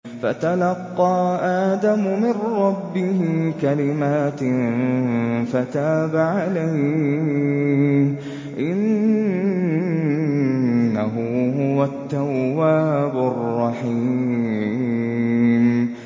فَتَلَقَّىٰ آدَمُ مِن رَّبِّهِ كَلِمَاتٍ فَتَابَ عَلَيْهِ ۚ إِنَّهُ هُوَ التَّوَّابُ الرَّحِيمُ